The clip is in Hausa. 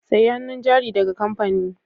Sayi hannun jari daga kamfani